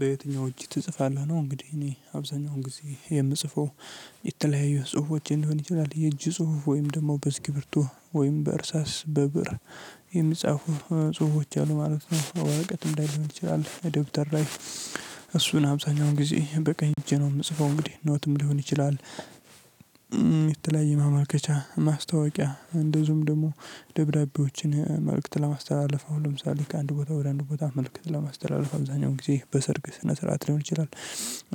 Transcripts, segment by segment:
በየትኛው እጅ ትጽፋለህ ነው? እንግዲህ እኔ አብዛኛውን ጊዜ የምጽፈው የተለያየ ጽሁፎች ሊሆን ይችላል የእጅ ጽሁፍ ወይም ደግሞ በእስክርብቶ ወይም በእርሳስ በብእር የሚጻፉ ጽሁፎች አሉ ማለት ነው። ወረቀት ላይ ልሆን ይችላል ደብተር ላይ እሱን አብዛኛውን ጊዜ በቀኝ እጄ ነው የምጽፈው እንግዲህ ኖትም ሊሆን ይችላል። የተለያየ ማመልከቻ ማስታወቂያ እንደዚሁም ደግሞ ደብዳቤዎችን መልእክት ለማስተላለፍ አሁን ለምሳሌ ከአንድ ቦታ ወደ አንድ ቦታ መልእክት ለማስተላለፍ አብዛኛው ጊዜ በሰርግ ስነ ስርዓት ሊሆን ይችላል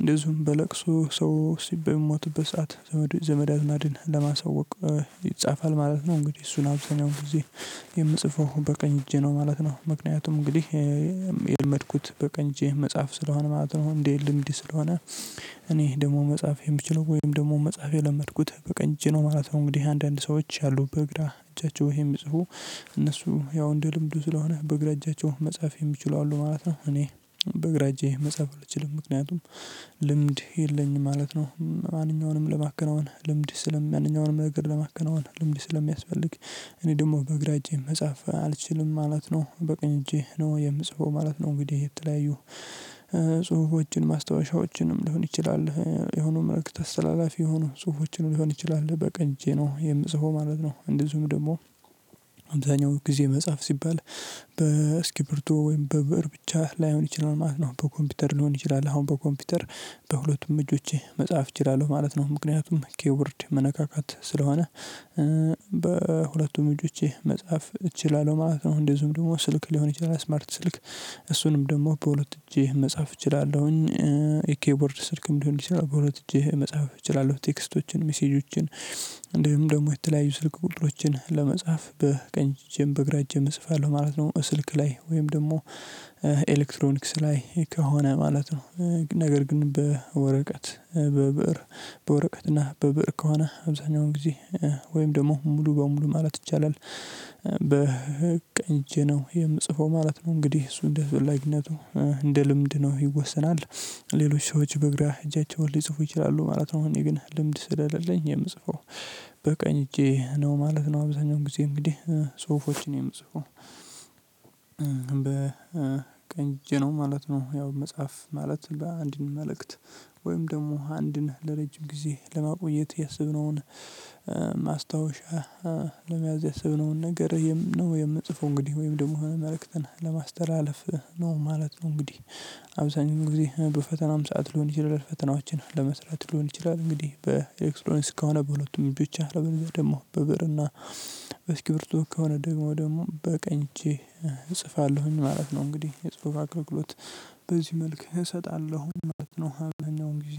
እንደዚሁም በለቅሶ ሰው በምሞትበት ሰዓት ዘመድ አዝማድን ለማስወቅ ይጻፋል ማለት ነው። እንግዲህ እሱን አብዛኛው ጊዜ የምጽፈው በቀኝ እጄ ነው ማለት ነው። ምክንያቱም እንግዲህ የለመድኩት በቀኝ እጄ መጻፍ ስለሆነ ማለት ነው። እንዴ ልምድ እንዴ ስለሆነ እኔ ደግሞ መጻፍ የምችለው ወይም ደግሞ መጽሐፍ የለመድኩት በቀኝ እጄ ማለት ነው። እንግዲህ አንዳንድ ሰዎች ያሉበት በግራ እጃቸውን የሚጽፉ እነሱ ያው እንደ ልምዱ ስለሆነ በግራ መጻፍ የሚችለው አሉ ማለት ነው እኔ በግራ እጄ መጻፍ አልችልም ምክንያቱም ልምድ የለኝም ማለት ነው። ማንኛውንም ለማከናወን ልምድ ስለም ያንኛውንም ማንኛውም ነገር ለማከናወን ልምድ ስለሚያስፈልግ እኔ ደግሞ በግራ እጄ መጻፍ አልችልም ማለት ነው። በቀኝ እጄ ነው የምጽፈው ማለት ነው እንግዲህ የተለያዩ ጽሁፎችን ማስታወሻዎችንም ሊሆን ይችላል የሆነ መልክት አስተላላፊ የሆነ ጽሁፎችንም ሊሆን ይችላል በቀኝ እጄ ነው የምጽፈው ማለት ነው። እንደዚሁም ደግሞ አብዛኛው ጊዜ መጽሐፍ ሲባል በእስክርብቶ ወይም በብእር ብቻ ላይሆን ይችላል ማለት ነው በኮምፒውተር ሊሆን ይችላል አሁን በኮምፒውተር በሁለቱም እጆቼ መጽሐፍ እችላለሁ ማለት ነው ምክንያቱም ክፖርድ መነካካት ስለሆነ በሁለቱም እጆቼ መጻፍ እችላለሁ ማለት ነው። እንደዝሁም ደግሞ ስልክ ሊሆን ይችላል ስማርት ስልክ እሱንም ደግሞ በሁለት እጄ መጻፍ እችላለሁኝ ኬይቦርድ ስልክም ሊሆን ይችላል በሁለት እጅ መጻፍ እችላለሁ ቴክስቶችን ሜሴጆችን እንዲሁም ደግሞ የተለያዩ ስልክ ቁጥሮችን ለመጻፍ በቀኝ እጄም በግራ እጄም እጽፋለሁ ማለት ነው። ስልክ ላይ ወይም ደግሞ ኤሌክትሮኒክስ ላይ ከሆነ ማለት ነው ነገር ግን በወረቀት በብእር በወረቀት እና በብእር ከሆነ አብዛኛውን ጊዜ ወይም ደግሞ ሙሉ በሙሉ ማለት ይቻላል በቀኝ እጄ ነው የምጽፈው ማለት ነው። እንግዲህ እሱ እንደ አስፈላጊነቱ እንደ ልምድ ነው ይወሰናል ሌሎች ሰዎች በግራ እጃቸውን ሊጽፉ ይችላሉ ማለት ነው። እኔ ግን ልምድ ስለሌለኝ የምጽፈው በቀኝ እጄ ነው ማለት ነው አብዛኛው ጊዜ እንግዲህ ጽሁፎችን የምጽፈው በቀኝ እጄ ነው ማለት ነው። ያው መጻፍ ማለት አንድን መልእክት ወይም ደግሞ አንድን ለረጅም ጊዜ ለማቆየት የሰብነውን ማስታወሻ ለመያዝ ያሰብነውን ነገር የምንጽፈው እንግዲህ ወይም ደግሞ መልእክትን ለማስተላለፍ ነው ማለት ነው። እንግዲህ አብዛኛው ጊዜ በፈተናም ሰዓት ልሆን ይችላል ፈተናዎችን ለመስራት ልሆን ይችላል እንግዲህ በኤለክትሮንክስ ከሆነ በሁለቱም እጆቼ አለበለዚያ ደግሞ በብዕርና በስኪርብቶ ከሆነ ደግሞ ደግሞ በቀኝ እቼ እጽፋለሁኝ ማለት ነው። እንግዲህ የጽሁፍ አገልግሎት በዚህ መልክ እሰጣለሁኝ ማለት ነው። አብዛኛውን ጊዜ